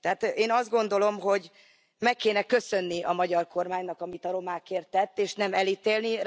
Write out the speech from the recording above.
Tehát én azt gondolom, hogy meg kéne köszönni a magyar kormánynak, amit a romákért tett, és nem elítélni.